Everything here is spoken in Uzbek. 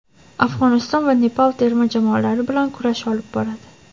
Afg‘oniston va Nepal terma jamoalari bilan kurash olib boradi.